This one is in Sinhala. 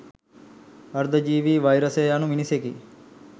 අර්ධ ජීවී වෛරසය යනු මිනිසෙකි.